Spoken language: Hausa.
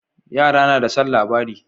Yara nada son labari